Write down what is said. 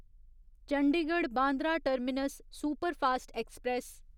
Chandigarh Bandra terminus superfast express